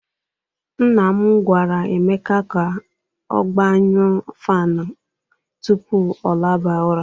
Nna m gwara Emeka ka ọ gbanyu fanụ a tupu ọ laba ụra.